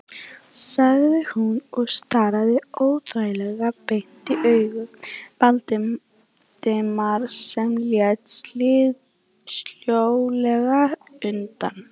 sagði hún og starði óþægilega beint í augu Valdimars sem leit sljólega undan.